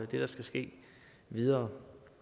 det der skal ske videre